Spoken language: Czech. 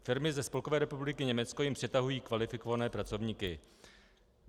Firmy ze Spolkové republiky Německo jim přetahují kvalifikované pracovníky.